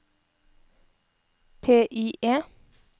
PIE